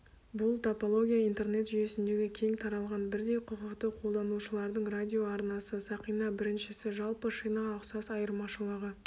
бұл топология интернет жүйесіндегі кең таралған бірдей құқықты қолданушылардың радиоарнасы сақина біріншісі жалпы шинаға ұқсас айырмашылығы